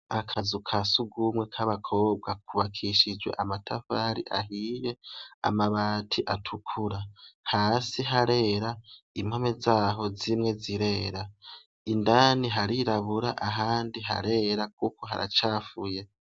akazu kasugumwe k'abakobwa kubakishijwe amatafari ahiye amabati atukura hasi harera impome zaho zimwe zirera indani harirabura ahandi harera kuko haracafuye